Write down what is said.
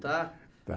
Está? Está